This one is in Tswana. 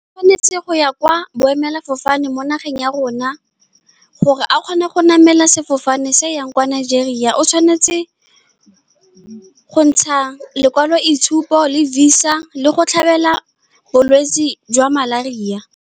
O tshwanetse go ya kwa boemelafofane mo nageng ya rona, gore a kgone go namela sefofane se se yang kwa Nigeria. O tshwanetse go ntsha lekwalo, itshupo le visa, le go tlhabela bolwetsi jwa malaria.